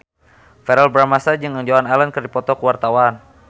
Verrell Bramastra jeung Joan Allen keur dipoto ku wartawan